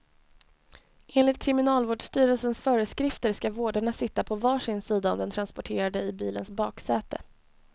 Enligt kriminalvårdsstyrelsens föreskrifter ska vårdarna sitta på var sin sida om den transporterade i bilens baksäte.